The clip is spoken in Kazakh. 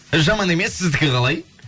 жаман емес сіздікі қалай